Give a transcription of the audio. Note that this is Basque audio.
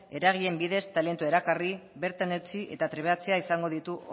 eragileen bidez talentua erakarri bertan eutsi eta trebatzea izango ditu